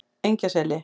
Engjaseli